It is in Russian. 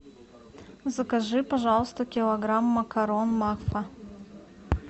закажи пожалуйста килограмм макарон макфа